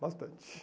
Bastante.